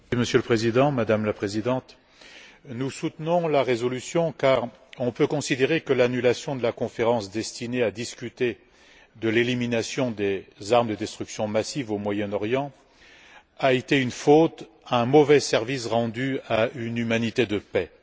Monsieur le Président, Madame la Présidente, nous soutenons la résolution, car on peut considérer que l'annulation de la conférence prévue pour discuter de l'élimination des armes de destruction massive au Moyen Orient a été une faute, un mauvais service rendu à une humanité de paix.